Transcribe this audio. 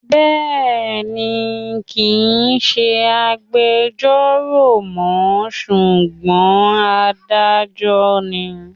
Bẹ́ẹ̀ni, kì ń ṣe agbejọ́rò mọ́ ṣùgbọ́n Adájọ́ ni.